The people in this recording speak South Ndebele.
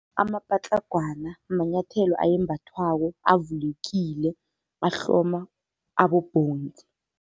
Amapatlagwana manyathelo ayembathwako, avulekile, ahloma abobhonzi.